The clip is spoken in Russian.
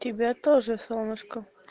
тебя тоже солнышко